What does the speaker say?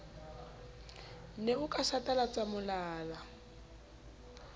ne o ka satalatsa molala